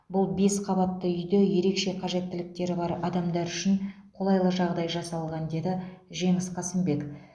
бұл бес қабатты үйде ерекше қажеттіліктері бар адамдар үшін қолайлы жағдай жасалған деді жеңіс қасымбек